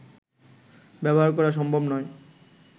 ব্যবহার করা সম্ভব নয়